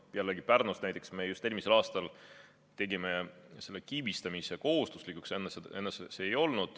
Näiteks Pärnus me just eelmisel aastal tegime kiibistamise kohustuslikuks, enne see ei olnud kohustuslik.